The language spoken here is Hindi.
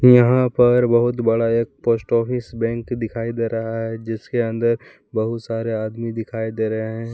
यहां पर बहुत बड़ा एक पोस्ट ऑफिस बैंक दिखाई दे रहा है जिसके अंदर बहुत सारे आदमी दिखाई दे रहे हैं।